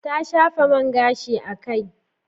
Ta shafa man gashi a kai